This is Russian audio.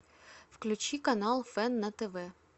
включи канал фэн на тв